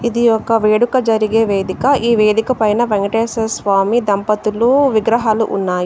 ఇది ఒక వేడుక జరిగే వేదిక. ఈ వేదిక పైన వేంకటేశ్వర స్వామి దంపతులు విగ్రహాలు ఉన్నాయి.